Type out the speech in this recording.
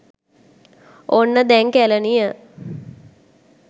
ඔන්න දැන් කැලණිය